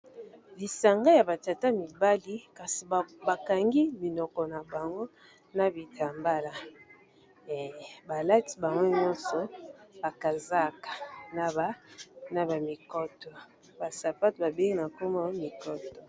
Lisanga ya ba tata mibali kasi bakangi minoko na bango na bitambala, balati bango nyonso ba kazaka na ba mikoto ba sapatu babengi na kombo ya mikoto.